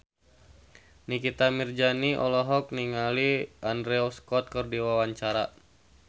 Nikita Mirzani olohok ningali Andrew Scott keur diwawancara